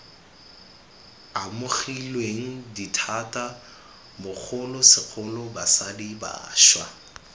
amogilweng dithata bogolosegolo basadi bašwa